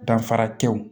Danfara tew